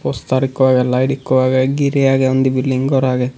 star ekko agey light ekko agey geerey agey undi bilding gor agey.